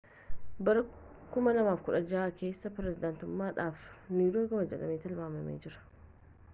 bara 2016 keessa pirezidaantummaadhaaf ni dorgoma jedhamee tilmaamamee jira